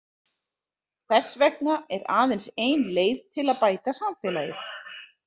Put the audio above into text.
Þess vegna er aðeins ein leið til að bæta samfélagið.